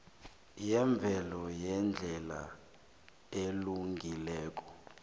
yemvelo ngendlela elungileko